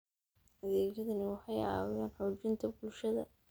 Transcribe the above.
Adeegyadani waxay caawiyaan xoojinta bulshada.